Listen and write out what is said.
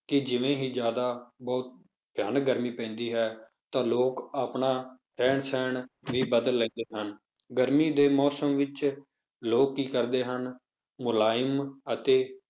ਕਿ ਜਿਵੇਂ ਹੀ ਜ਼ਿਆਦਾ ਬਹੁਤ ਭਿਆਨਕ ਗਰਮੀ ਪੈਂਦੀ ਹੈ ਤਾਂ ਲੋਕ ਆਪਣਾ ਰਹਿਣ ਸਹਿਣ ਵੀ ਬਦਲ ਲੈਂਦੇ ਹਨ, ਗਰਮੀ ਦੇ ਮੌਸਮ ਵਿੱਚ ਲੋਕ ਕੀ ਕਰਦੇ ਹਨ, ਮੁਲਾਇਮ ਅਤੇ